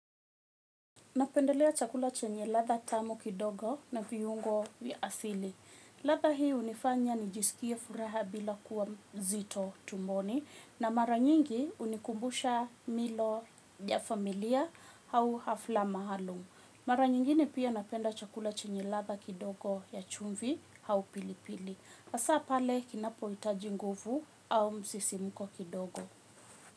Napendelea chakula chenye ladha tamu kidogo na viungo vya asili. Ladha hii hunifanya nijisikie furaha bila kuwa mzito tumboni na mara nyingi hunikumbusha milo ya familia au hafla maalum. Mara nyingine pia napenda chakula chenye ladha kidogo ya chumvi au pilipili. Hasa pale kinapohitaji nguvu au msisimuko kidogo.